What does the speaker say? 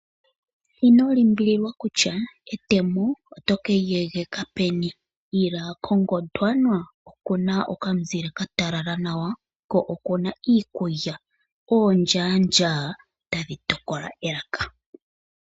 Inolimbililwa kutya etemo oto keli egeka peni Ila ko Gondwana okuna omuzile gwatalala nawa ko okuna iikulya, oondja tadhi tokola elaka